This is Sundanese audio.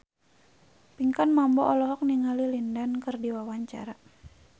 Pinkan Mambo olohok ningali Lin Dan keur diwawancara